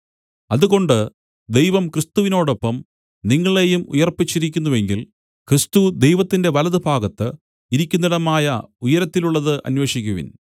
അതുകൊണ്ട് ദൈവം ക്രിസ്തുവിനോടൊപ്പം നിങ്ങളെയും ഉയിർപ്പിച്ചിരിക്കുന്നുവെങ്കിൽ ക്രിസ്തു ദൈവത്തിന്റെ വലത്തുഭാഗത്ത് ഇരിക്കുന്നിടമായ ഉയരത്തിലുള്ളത് അന്വേഷിക്കുവിൻ